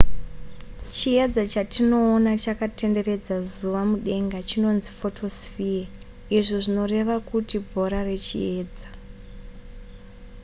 chiedza chatinoona chakatenderedza zuva mudenga chinonzi photosphere izvo zvinoreva kuti bhora rechiedza